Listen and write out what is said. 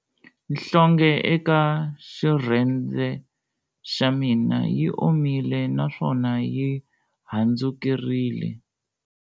Nhlonghe eka xirhendze xa mina yi omile naswona yi handzukerile.